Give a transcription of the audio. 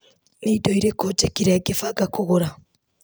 Nĩ indo irĩkũ njĩkire ngĩbanga kũgũra .